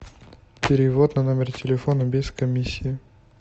перевод на номер телефона без комиссии